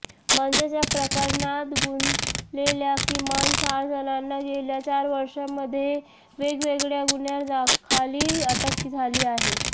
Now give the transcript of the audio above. म्हणजेच या प्रकरणात गुंतलेल्या किमान चार जणांना गेल्या चार वर्षांमध्ये वेगवेगळ्या गुन्ह्यांखाली अटक झाली आहे